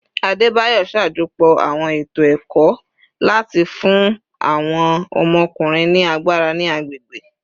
Adebayor ṣajọpọ awọn eto eto-ẹkọ lati fun awọn ọmọkunrin ni agbara ni agbegbe